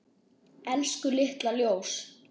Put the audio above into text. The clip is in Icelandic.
Elsku litla ljós.